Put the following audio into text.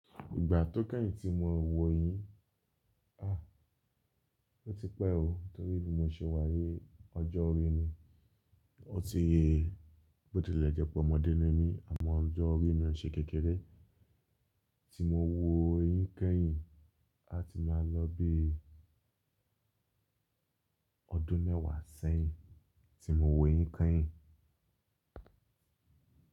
Ìgbà tó kányìn tí mo wu eyín, à, ó ti pẹ́ ò, torí bí mo ṣe wá yi ọjọ́ orí mi, ó ti, bó ti le jẹ́ pé ọmọdé ni mí àmọ́ ọjọ́ orí mi ò ṣe kékeré. Tí mo wu eyín keyìn, a ti máa lọ bí ọdún mẹ́wàá sẹ́yìn, tí mo wu eyín kenyìn.